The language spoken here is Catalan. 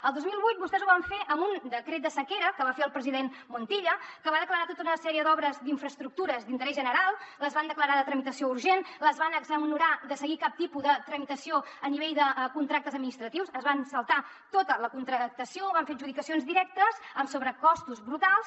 el dos mil vuit vostès ho van fer amb un decret de sequera que va fer el president montilla que va declarar tota una sèrie d’obres d’infraestructures d’interès general les van declarar de tramitació urgent les van exonerar de seguir cap tipus de tramitació a nivell de contractes administratius es van saltar tota la contractació van fer adjudicacions directes amb sobrecostos brutals